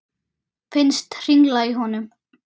Finnst hringla í honum.